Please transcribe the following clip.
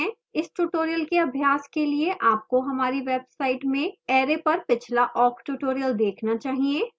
इस tutorial के अभ्यास के लिए आपको हमारी website में array पर पिछला awk tutorial देखना चाहिए